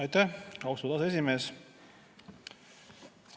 Aitäh, austatud aseesimees!